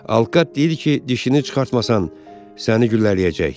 Alkaz deyir ki, dişini çıxartmasan səni güllələyəcək.